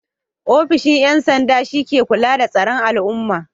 Ofishin 'yan sanda shi ke kula da tsaron al'umma.